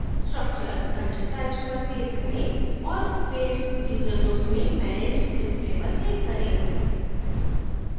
structure content types पर click करें औऱ फिर user groups में manage display पर click करें